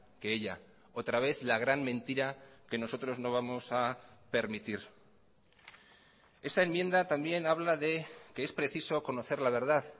que ella otra vez la gran mentira que nosotros no vamos a permitir esa enmienda también habla de que es preciso conocer la verdad